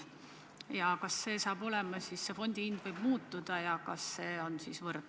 Kas selline olukord on kõigi jaoks võrdne?